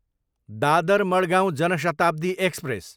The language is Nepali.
दादर, मड्गाँव जान शताब्दी एक्सप्रेस